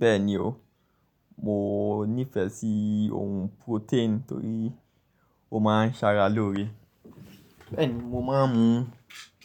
Bẹ́ẹ̀ni o, mo nífẹ̀ẹ́ sí ohun protein torí ó ma ń sára lóore. Bẹ́ẹ̀ni mo má a ń mu